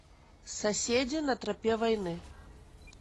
соседи на тропе войны